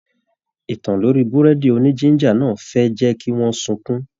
Ìtàn lorí burẹdi òní-jìnjà náà fẹ ẹ jẹ kí wọn sunkún.